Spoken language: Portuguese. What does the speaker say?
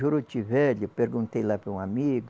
Juruti Velho, eu perguntei lá para um amigo,